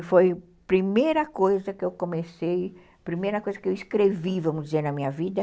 E foi a primeira coisa que eu escrevi na minha vida.